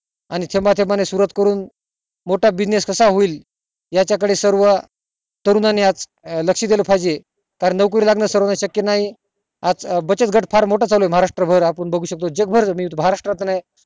आणि थेंबा थेंबा ने सुरवात करून मोठा business कसा होईल यांच्या कडे सर्व सर्व तरुणांनी लक्ष दिल पाहिजे नोकरी लागण सर्वाना शक्य नाही आज बचत घाट खूप मोठं चाली ये महारष्ट्र भर आपण बगु शकतो जग भर महाराष्ट्र त हि नाही